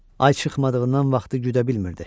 Ay çıxmadığından vaxtı güdə bilmirdi.